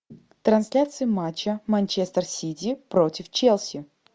трансляция матча манчестер сити против челси